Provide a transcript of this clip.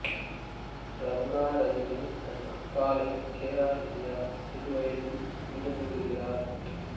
ரங்கா ரஜினி தன் அக்காளை K R Vijaya சிறுவயதில் பிரிந்துவிடுகிறார்